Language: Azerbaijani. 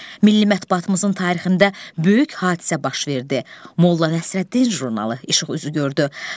Milli mətbuatımızın tarixində böyük hadisə baş verdi: Molla Nəsrəddin jurnalı işıq üzü gördü.